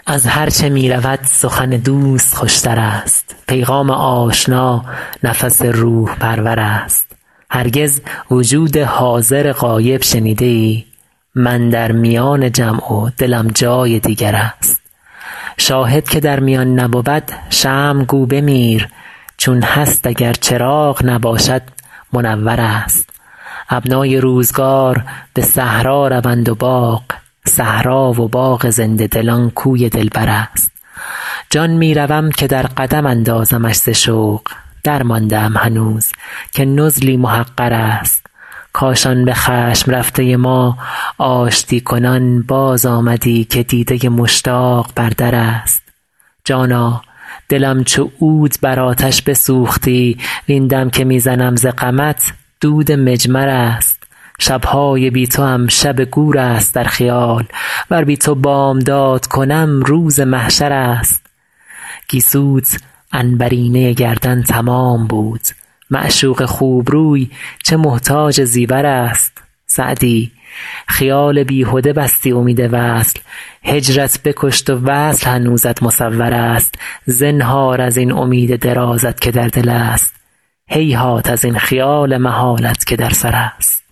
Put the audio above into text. از هرچه می رود سخن دوست خوش تر است پیغام آشنا نفس روح پرور است هرگز وجود حاضر غایب شنیده ای من در میان جمع و دلم جای دیگر است شاهد که در میان نبود شمع گو بمیر چون هست اگر چراغ نباشد منور است ابنای روزگار به صحرا روند و باغ صحرا و باغ زنده دلان کوی دلبر است جان می روم که در قدم اندازمش ز شوق درمانده ام هنوز که نزلی محقر است کاش آن به خشم رفته ما آشتی کنان بازآمدی که دیده مشتاق بر در است جانا دلم چو عود بر آتش بسوختی وین دم که می زنم ز غمت دود مجمر است شب های بی توام شب گور است در خیال ور بی تو بامداد کنم روز محشر است گیسوت عنبرینه گردن تمام بود معشوق خوب روی چه محتاج زیور است سعدی خیال بیهده بستی امید وصل هجرت بکشت و وصل هنوزت مصور است زنهار از این امید درازت که در دل است هیهات از این خیال محالت که در سر است